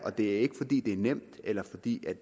og det er ikke fordi det er nemt eller fordi